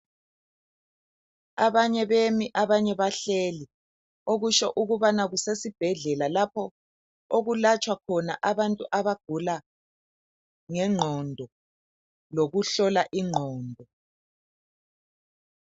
Abanye bemi, abanye bahleli, okusho ukubana kusesibhedlela lapho okulatshwa khona abantu abagula ngengqondo lokuhlola ingqondo.